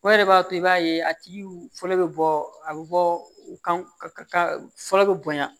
O yɛrɛ de b'a to i b'a ye a tigi fɔlɔ bɛ bɔ a bɛ bɔ u ka fɔlɔ bɛ bonya